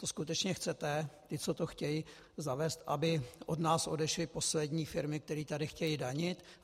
To skutečně chcete, ti, co to chtějí zavést, aby od nás odešly poslední firmy, které tady chtějí danit?